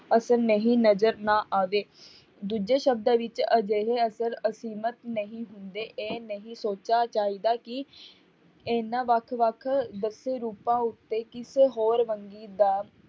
ਅਸਰ ਨਹੀਂ ਨਜ਼ਰ ਨਾ ਆਵੇ, ਦੂਜੇ ਸ਼ਬਦਾਂ ਵਿੱਚ ਅਜਿਹੇ ਅਸਰ ਅਸੀਮਿਤ ਨਹੀਂ ਹੁੰਦੇ ਇਹ ਨਹੀਂ ਸੋਚਾ ਚਾਹੀਦਾ ਕਿ ਇਹਨਾਂ ਵੱਖ ਵੱਖ ਦੱਸੇ ਰੂਪਾਂ ਉੱਤੇ ਕਿਸੇ ਹੋਰ ਵੰਨਗੀ ਦਾ